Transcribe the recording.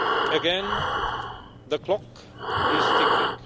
Again, the clock is ticking.